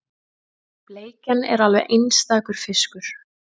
Bleikjan er alveg einstakur fiskur